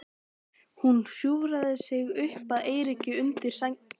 Hún hjúfraði sig upp að Eiríki undir sænginni.